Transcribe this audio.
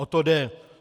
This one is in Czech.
O to jde!